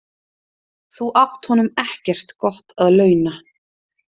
Þú átt honum ekkert gott að launa.